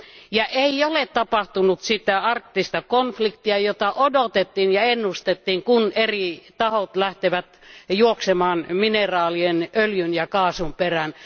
Ja ei ole tapahtunut sitä arktista konfliktia, jota odotettiin ja ennustettiin, kun eri tahot lähtevät juoksemaan mineraalien, öljyn ja kaasun perään.